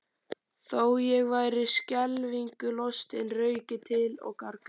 Þó ég væri skelfingu lostinn rauk ég til og gargaði